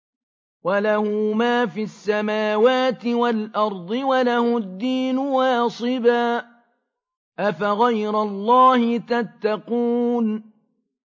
وَلَهُ مَا فِي السَّمَاوَاتِ وَالْأَرْضِ وَلَهُ الدِّينُ وَاصِبًا ۚ أَفَغَيْرَ اللَّهِ تَتَّقُونَ